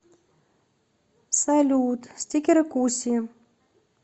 салют стикеры куси